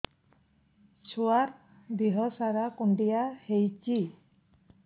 ଛୁଆର୍ ଦିହ ସାରା କୁଣ୍ଡିଆ ହେଇଚି